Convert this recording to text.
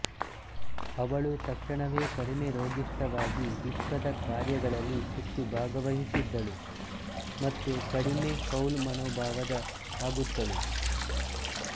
ಅವಳು ತಕ್ಷಣವೇ ಕಡಿಮೆ ರೋಗಿಷ್ಠವಾಗಿ ವಿಶ್ವದ ಕಾರ್ಯಗಳಲಿ ಹೆಚ್ಚು ಭಾಗವಹಿಸಿದ್ದಳು ಮತ್ತು ಕಡಿಮೆ ಫೌಲ್ ಮನೋಭಾವದ ಆಗುತ್ತಳು